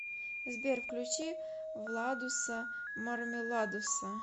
сбер включи владуса мармеладуса